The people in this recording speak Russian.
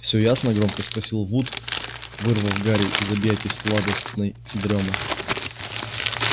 все ясно громко спросил вуд вырвав гарри из объятий сладостной дремы